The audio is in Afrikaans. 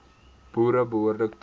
boere behoorlik toerus